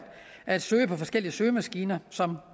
at søge på forskellige søgemaskiner som